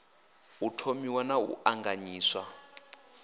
u thomiwa na u ṱanganyiswa